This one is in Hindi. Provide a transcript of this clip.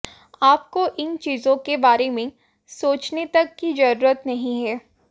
आपको इन चीजों के बारे में सोचने तक की जरूरत नहीं है